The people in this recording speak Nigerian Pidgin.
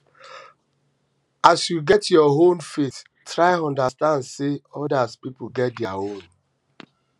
um as you get your own um faith try understand sey oda pipo get their own